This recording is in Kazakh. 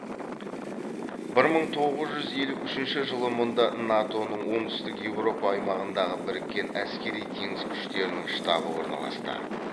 бір мың тоғыз жүз елу үшінші жылы мұнда нато ның оңтүстік еуропа аймағындағы біріккен әскери теңіз күштерінің штабы орналасты